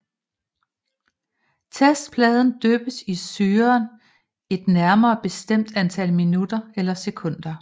Testpladen dyppes i syren et nærmere bestemt antal minutter eller sekunder